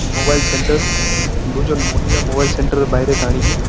mobile centre দুজন মহিলা mobile centre এর বাইরে দাঁড়িয়ে--